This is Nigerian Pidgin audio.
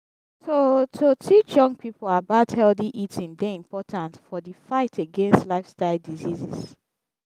to to teach young pipo about healthy eating dey important for di fight against lifestyle diseases.